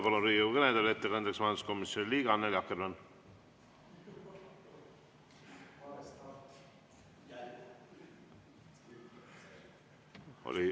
Palun ettekandeks Riigikogu kõnetooli majanduskomisjoni liikme Annely Akkermanni.